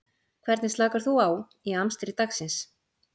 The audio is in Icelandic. Hvernig slakar þú á í amstri dagsins?